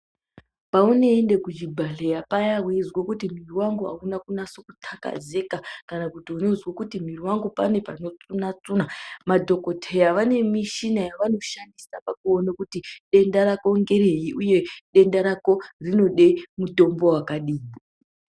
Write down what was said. Paunoenda kuchibhedhleya paya weyizwa kuti muviri wangu awuna kutakazeka kana kuti unozwa kuti muviri wangu pane panotsunatsuna, madhokodheya vane mushina yavanoshandisa pakuwona kuti denda rako ngereyi uye denda rako rinode mitombo wakadini.